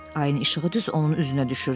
Ayın işığı düz onun üzünə düşürdü.